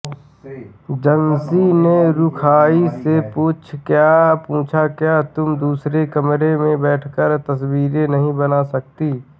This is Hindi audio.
जान्सी ने रूखाई से पूछाक्या तुम दूसरे कमरे में बैठकर तस्वीरें नहीं बन सकती